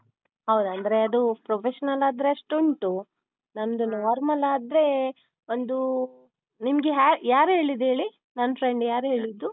ಹೌದು ಅಂದ್ರೆ ಅದು professional ಆದ್ರೆ ಅಷ್ಟುಂಟು, ನಮ್ದು normal ಆದ್ರೆ ಒಂದು ನಿಮ್ಗೆ hair ಯಾರ್ ಹೇಳಿದ್ ಹೇಳಿ ನನ್ friend ಯಾರ್ ಹೇಳಿದ್ದು.